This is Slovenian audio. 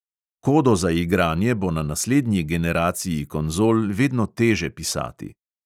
Kodo za igranje bo na naslednji generaciji konzol vedno teže pisati.